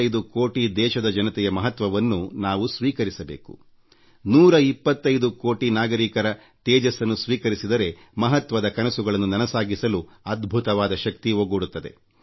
125 ಕೋಟಿ ದೇಶದ ಜನತೆಯ ಮಹತ್ವವನ್ನು ನಾವು ಸ್ವೀಕರಿಸಬೇಕು 125 ಕೋಟಿ ನಾಗರಿಕರ ತೇಜಸ್ಸನ್ನು ಸ್ವೀಕರಿಸಿದರೆ ಮಹತ್ವದ ಕನಸುಗಳನ್ನು ನನಸಾಗಿಸಲು ಅದ್ಭುತವಾದ ಶಕ್ತಿ ಒಗ್ಗೂಡುತ್ತದೆ